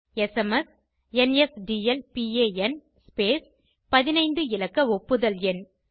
SMS NSDL PAN ltspacegt15 இலக்க ஒப்புதல் எண்